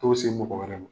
To se mɔgɔ wɛrɛ ma